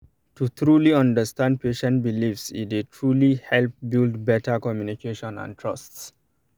to truly understand patient beliefs e dey truly help build better communication and trust